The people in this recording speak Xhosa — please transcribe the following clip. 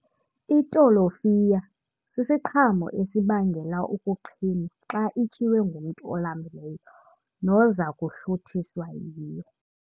Itolofiya sisiqhamo esibangela ukuqhinwa xa ityiwe ngumntu olambileyo noza kuhluthiswa.